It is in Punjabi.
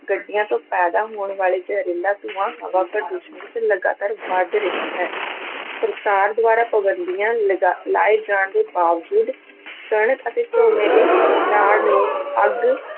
ਗੱਡੀਆਂ ਤੋਂ ਪੈਦਾ ਹੋਣ ਵਾਲੇ ਜ਼ਹਰੀਲਾ ਧੂੰਆਂ ਹਵਾ ਪ੍ਰਦੂਸ਼ਣ ਵਿੱਚ ਲਗਾਤਾਰ ਵੱਧ ਰਿਹਾ ਹੈ ਸਰਕਾਰ ਦੁਆਰਾ ਪਾਬੰਦੀਆਂ ਲਗਾ~ ਲਾਏ ਜਾਣ ਦੇ ਬਾਵਜੂਦ ਕਣਕ ਅਤੇ ਝੋਨੇ ਦੀ ਨਾੜ ਨੂੰ ਅੱਗ